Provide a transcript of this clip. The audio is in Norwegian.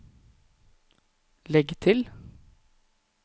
legg til